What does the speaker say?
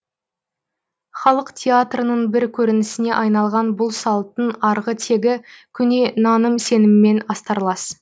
халық театрының бір көрінісіне айналған бұл салттың арғы тегі көне наным сеніммен астарлас